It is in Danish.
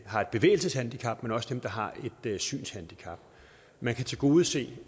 har et bevægelseshandicap men også dem der har et synshandicap man kan tilgodese